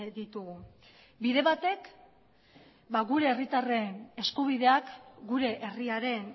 ditugu bide batek gure herritarren eskubideak gure herriaren